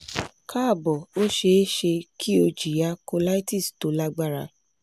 káàbọ̀ ó ṣe é ṣe kí o jìyà colitis tó lágbára